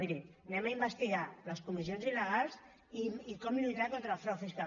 miri anem a investigar les comissions il·legals i com lluitar contra el frau fiscal